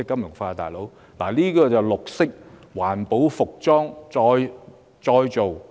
我提到的正是環保的服裝再造。